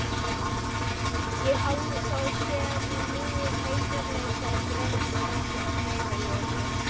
Ég hafði þá sem nú heiðarleika og drengskap að leiðarljósi.